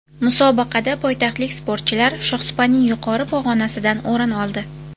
Musobaqada poytaxtlik sportchilar shohsupaning yuqori pog‘onasidan o‘rin oldi.